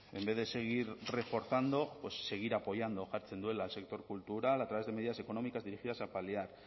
en vez de seguir reforzando seguir apoyando jartzen duela al sector cultural a través de medidas económicas dirigidas a paliar